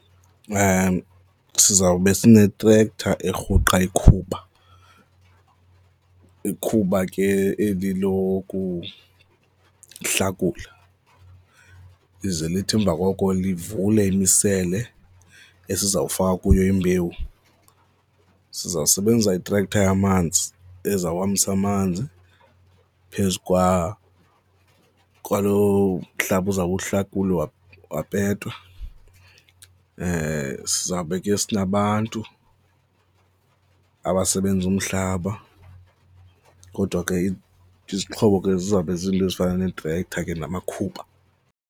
Sizawube sine-tractor erhuqa ikhuba, ikhuba ke eli lokuhlakula lize lithi emva koko livule imisele esiza kufaka kuyo imbewu. Siza kusebenzisa i-tractor yamanzi ezawuhambisa amanzi phezu kwaloo mhlaba uzawube uhlakulwa, wapetwa. Sizawube ke sinabantu abasebenza umhlaba kodwa ke izixhobo ke zizawube zizinto ezifana neetrektha ke namakhuba.